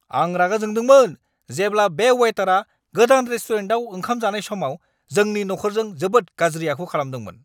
आं रागा जोंदोंमोन जेब्ला बे वेटारआ गोदान रेस्टुरेन्टाव ओंखाम जानाय समाव जोंनि नखरजों जोबोद गाज्रि आखु खालामदोंमोन!